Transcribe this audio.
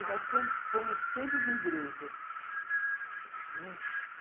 fomos sempre de igreja, né? Hum.